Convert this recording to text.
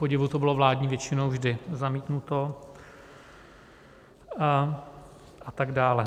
Kupodivu to bylo vládní většinou vždy zamítnuto a tak dále.